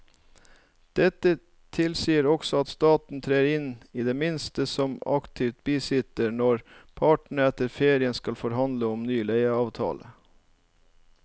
Dette tilsier også at staten trer inn i det minste som aktiv bisitter når partene etter ferien skal forhandle om en ny leieavtale.